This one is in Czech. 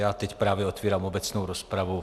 Já teď právě otevírám obecnou rozpravu.